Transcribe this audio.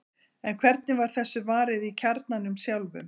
En hvernig var þessu varið í kjarnanum sjálfum?